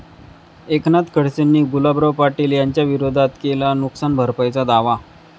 एकनाथ खडसेंनी गुलाबराव पाटील यांच्याविरोधात केला नुकसान भरपाईचा दावा